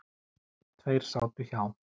Tveir sátu hjá